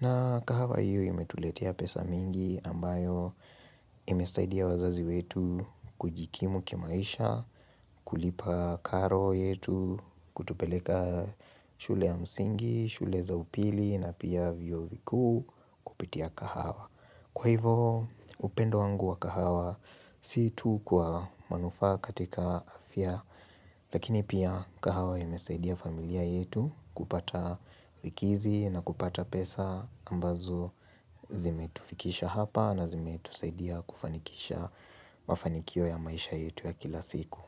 na kahawa hiyo imetuletea pesa mingi ambayo imesaidia wazazi wetu kujikimu kimaisha kulipa karo yetu Kutupeleka shule ya msingi, shule za upili na pia vio viku kupitia kahawa Kwa hivo upendo wangu wa kahawa situ kwa manufa katika afya Lakini pia kahawa imesaidia familia yetu kupata vikizi na kupata pesa ambazo zime tufikisha hapa na zime tusaidia kufanikisha mafanikio ya maisha yetu ya kila siku.